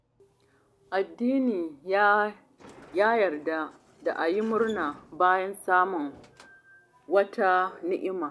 Addini ya yarda da a yi murna bayan samun wata ni'ima.